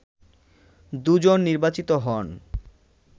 দুজন নির্বাচিত হন